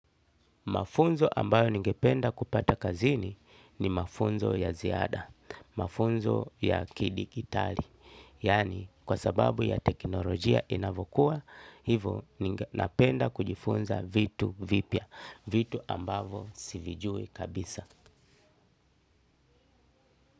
Mafunzo ambayo ningependa kupata kazini ni mafunzo ya ziada, mafunzo ya ki-digitali, yani kwa sababu ya teknolojia inavokuwa, hivyo ningependa kujifunza vitu vipya, vitu ambavyo sivijui kabisa.